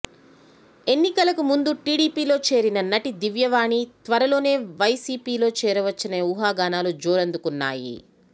ఎన్నికలకు ముందు టీడీపీలో చేరిన నటి దివ్యవాణి త్వరలోనే వైసీపీలో చేరొచ్చనే ఊహాగానాలు జోరందుకున్నాయి